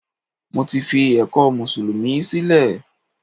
Mo ti fi ẹ̀kọ́ mùsùlùmí sílẹ̀